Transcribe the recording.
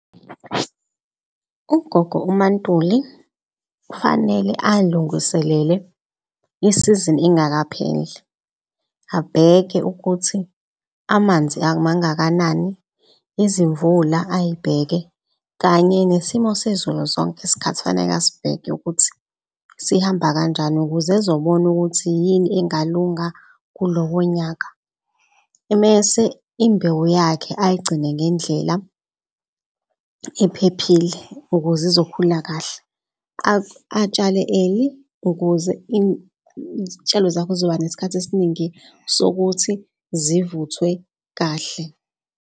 Ugogo uMaNtuli kufanele alunguselele isizini ingakapheli abheke ukuthi, amanzi mangakanani. Izimvula ayibheke kanye nesimo sezulu zonke iskhathi kufaneke asibheke ukuthi sihamba kanjani ukuze ezobona ukuthi yini engalunga kulowo nyaka. Mese imbewu yakhe ayigcine ngendlela ephephile ukuze izokhulu kahle. Atshale early ukuze izitshalo zakho zizoba nesikhathi esiningi sokuthi zivuthwe kahle.